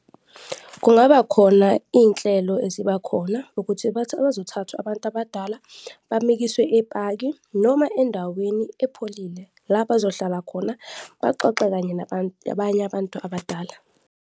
Kungaba khona iy'nhlelo ezibakhona ukuthi bathi bazothathwa abantu abadala, bamikiswe epaki noma endaweni epholile, la bazohlala khona baxoxe kanye nabanye abantu abadala.